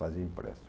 Fazia o empréstimo.